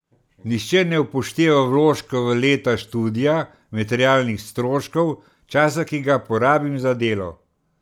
Nihče ne upošteva vložka v leta študija, materialnih stroškov, časa, ki ga porabim za delo.